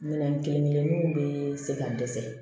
Minɛn kelen kelenninw bɛ se k'an dɛsɛ